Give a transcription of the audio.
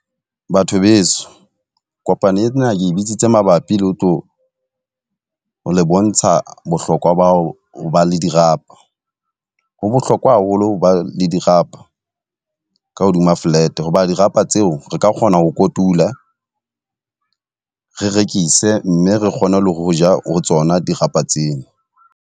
Batho beso, kopano ena ke bitsitse mabapi le ho tlo le bontsha bohlokwa ba ho ba le dirapa. Ho bohlokwa haholo ba le dirapa ka hodima flat. Hoba dirapa tseo re ka kgona ho kotula re rekise, mme re kgone le ho ja ho tsona dirapa tsena.